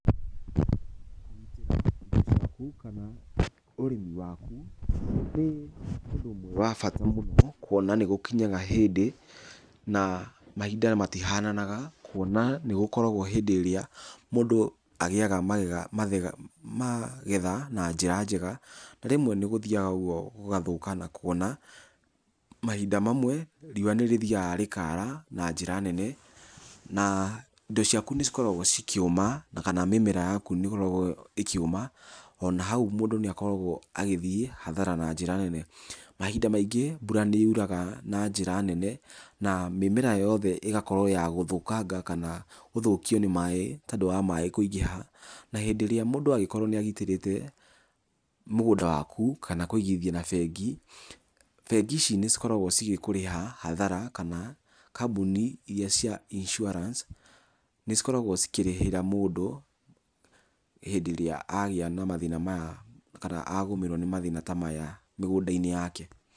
ĩĩ kũgĩa na ũgitĩri wa indo ciaku kana ũrĩmi waku nĩ ũndũ ũmwe wa bata mũno kuona nĩ gũkinyaga hĩndĩ na mahinda matihananaga. Kuona nĩ gũkoragwo hĩndĩ irĩa mũndũ agĩaga magetha na njĩra njega na rĩmwe nĩ gũthiaga ũguo gũgathũka na kuona mahinda mamwe riũa nĩ rĩthiaga ũguo rĩkara na njĩra nene. Na indo ciaku nĩ cikoragwo cikĩũma na kana mĩmera yaku nĩ ĩkoreagwo ĩkĩũma, ona hau mũndũ nĩ akoragwo agĩthiĩ hathara na njĩra nene. Mahinda maingĩ mbura nĩ yuraga na njĩra nene na mĩmera yothe ĩgakorwo ya gũthũkanga kana gũthũkio nĩ maaĩ tondũ wa maaĩ kũingĩ . Na hĩndĩ ĩrĩa mũndũ angĩkorwo nĩ agitĩrĩte mũgũnda waku kana kũigithia na bengi, bengi ici nĩ cikoragwo cigĩkũrĩha hathara. Kana kambuni iria cia insuarance nĩ cikoragwo cikĩrĩhĩra mũndũ hĩndĩ ĩrĩa agĩa na mathĩna maya kana agũmĩrwo nĩ mathĩna ta maya mĩgũnda-inĩ yake.